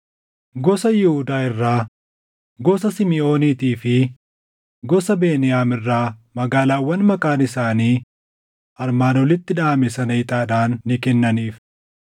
Gosa Yihuudaa irraa, gosa Simiʼooniitii fi gosa Beniyaam irraa magaalaawwan maqaan isaanii armaan olitti dhaʼame sana ixaadhaan ni kennaniif.